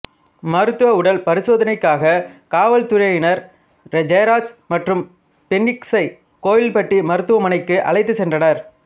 மருத்துவ உடல் பரிசோதனைக்காக காவல்துறையினர் ஜெயராஜ் மற்றும் பென்னிக்சை கோவில்பட்டி மருத்துவமனைக்கு அழைத்துச் சென்றனர்